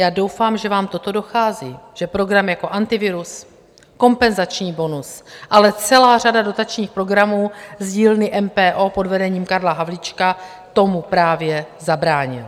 Já doufám, že vám toto dochází, že program jako Antivirus, kompenzační bonus, ale celá řada dotačních programů z dílny MPO pod vedením Karla Havlíčka tomu právě zabránila.